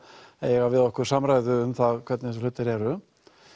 eiga við okkur samræðu um hvernig þessir hlutir eru